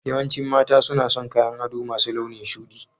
Yawancin mata suna son kayan ado masu launin shuɗi